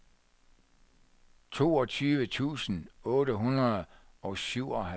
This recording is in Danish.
toogtyve tusind otte hundrede og syvoghalvtreds